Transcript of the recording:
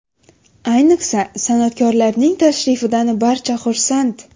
Ayniqsa, san’atkorlarning tashrifidan barcha xursand.